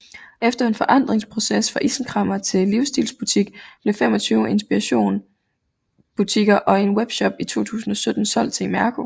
Efter en forandringsproces fra isenkræmmer til livsstilsbutik blev 25 Inspiration butikker og en webshop i 2017 solgt til Imerco